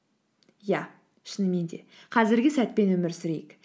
иә шынымен де қазіргі сәтпен өмір сүрейік